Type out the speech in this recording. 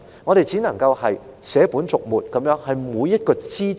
我們只能捨本逐末地討論每一個枝節。